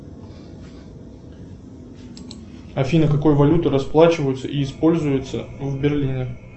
афина какой валютой расплачиваются и используется в берлине